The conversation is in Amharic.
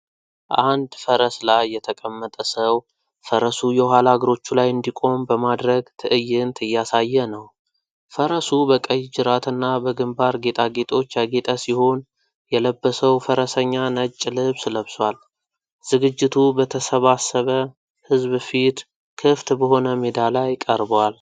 አንድ ፈረስ ላይ የተቀመጠ ሰው ፈረሱ የኋላ እግሮቹ ላይ እንዲቆም በማድረግ ትዕይንት እያሳየ ነው። ፈረሱ በቀይ ጅራትና በግምባር ጌጣጌጦች ያጌጠ ሲሆን የለበሰው ፈረሰኛ ነጭ ልብስ ለብሷል። ዝግጅቱ በተሰባሰበ ሕዝብ ፊት ክፍት በሆነ ሜዳ ላይ ቀርቧል።